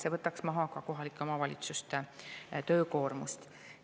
See võtaks maha ka kohalike omavalitsuste töökoormust.